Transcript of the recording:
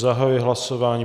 Zahajuji hlasování.